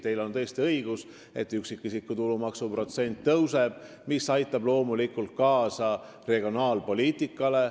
Teil on tõesti õigus selles, et üksikisiku tulumaksu protsent tõuseb, mis aitab loomulikult kaasa regionaalpoliitikale.